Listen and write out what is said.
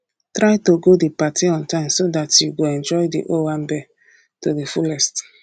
try to go di party on time so dat you go enjoy di owambe to di fullest